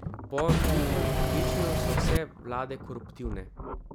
Po njihovem prepričanju so vse vlade koruptivne.